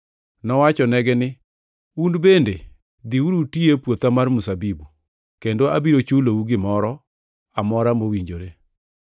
Nowachonegi ni, ‘Un bende dhiuru uti e puotha mar mzabibu, kendo abiro chulou gimoro amora mowinjore.’